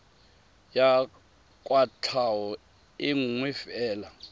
ya kwatlhao e nngwe fela